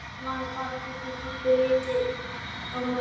Spurningin var bara hvernig pabbi liti á málin.